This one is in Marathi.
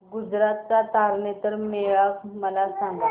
गुजरात चा तारनेतर मेळा मला सांग